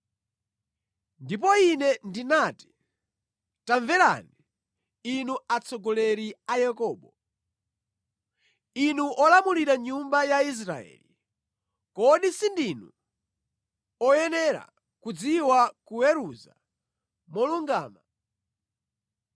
Ndipo ine ndinati, “Tamverani, inu atsogoleri a Yakobo, inu olamulira nyumba ya Israeli. Kodi sindinu oyenera kudziwa kuweruza molungama,